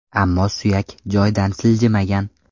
Ammo suyak joydan siljimigan.